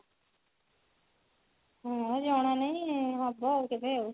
ହଁ ଜଣା ନାଇଁ ହବ ଆଉ କେବେ ଆଉ